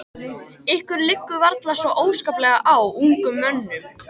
Ykkur liggur varla svo óskaplega á, ungum mönnunum.